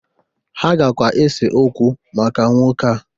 Ha gakwa ese okwu maka nwoke a